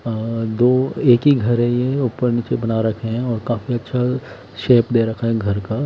और दो एक ही घर है ये ऊपर नीचे बना रखे हैं और काफी अच्छा शेप दे रखा है घर का--